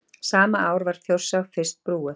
sama ár var þjórsá fyrst brúuð